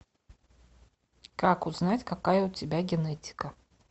как узнать какая у тебя генетика